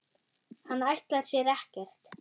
Hann ætlar sér ekkert.